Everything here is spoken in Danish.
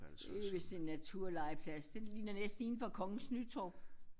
Det er vist en naturlegeplads det ligner næsten inden fra Kongens Nytorv